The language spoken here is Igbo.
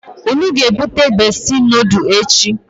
Unu a ga ebute Besti nodulu echi?